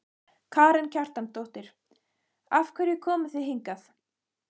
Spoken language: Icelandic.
Karen Kjartansdóttir: Af hverju komuð þið hingað?